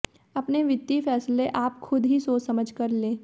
अपने वित्तीय फैसले आप खुद ही सोच समझ कर लें